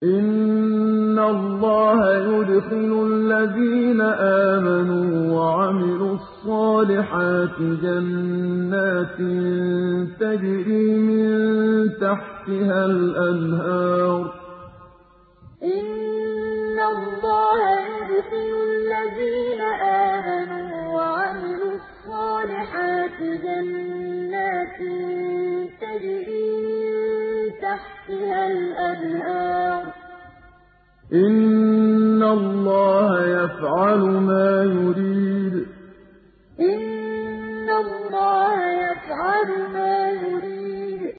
إِنَّ اللَّهَ يُدْخِلُ الَّذِينَ آمَنُوا وَعَمِلُوا الصَّالِحَاتِ جَنَّاتٍ تَجْرِي مِن تَحْتِهَا الْأَنْهَارُ ۚ إِنَّ اللَّهَ يَفْعَلُ مَا يُرِيدُ إِنَّ اللَّهَ يُدْخِلُ الَّذِينَ آمَنُوا وَعَمِلُوا الصَّالِحَاتِ جَنَّاتٍ تَجْرِي مِن تَحْتِهَا الْأَنْهَارُ ۚ إِنَّ اللَّهَ يَفْعَلُ مَا يُرِيدُ